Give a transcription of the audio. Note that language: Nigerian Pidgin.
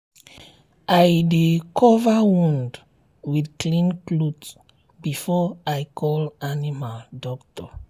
i dey cover wound with clean cloth before i call animal doctor